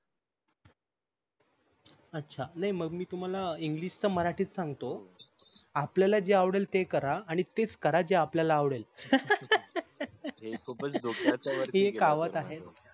अच्छा नाही मगमी तुम्हारा english च मराठीत सांगतो आपल्याला जे आवडेल ते करा आणि तेच करा जे आपल्याला आवडेल हे खूपच डोक्याच्या वरती गेलं हि एक कहावत आहे